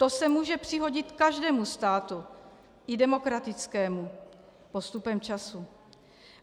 To se může přihodit každému státu, i demokratickému, postupem času.